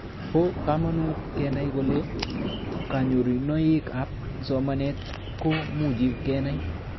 Po kamanut kenai kole kanyorunoik ab somanet ko muchi kenai